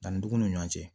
Danni dugun ni ɲɔgɔn cɛ